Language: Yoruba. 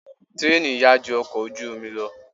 Tírèènì yá ju ọkọ̀ ojú omi lọ.